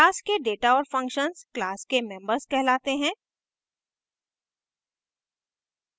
class के data और functions class के members कहलाते हैं